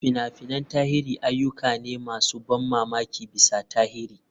Fina-finan tarihi ayyuka ne masu ban mamaki bisa tarihi.